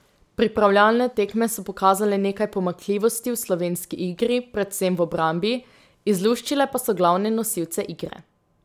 Pripravljalne tekme so pokazale nekaj pomanjkljivosti v slovenski igri, predvsem v obrambi, izluščile pa so glavne nosilce igre.